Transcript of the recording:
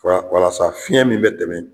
Walasa fiɲɛ min bɛ tɛmɛ